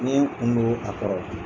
N ye n kun don a kɔrɔ.